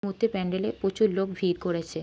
এই মুহূর্তে প্যান্ডেলে প্রচুর লোক ভিড় করেছে।